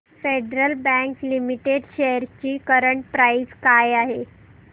federal Bank Limited shares ची current price काय आहे